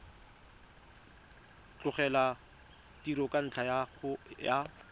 tlogela tiro ka ntlha ya